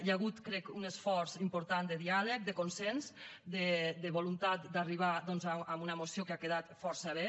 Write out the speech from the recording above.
hi ha hagut crec un esforç important de diàleg de consens de voluntat d’arribar doncs a una moció que ha quedat força bé